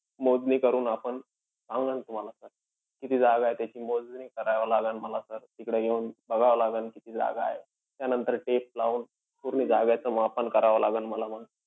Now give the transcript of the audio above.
मोजणी करून आपण, सांगेन तुम्हाला sir. किती जागा आहे, त्याची मोजणी करावी लागेल मला sir. तिकडं येऊन बघावं लागन किती जागा आहे. त्यानंतर tape लावून पूर्ण जागेचा मापन करावं लागन मला मांग.